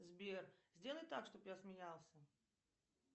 сбер сделай так чтоб я смеялся